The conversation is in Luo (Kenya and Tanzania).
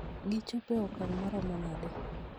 Gichopo e okang' maromo nade?